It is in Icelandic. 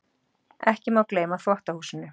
Ekki má gleyma þvottahúsinu.